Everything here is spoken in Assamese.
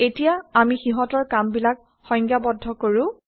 এতিয়া আমি সিহঁতৰ কামবিলাক সংজ্ঞাবদ্ধ কৰো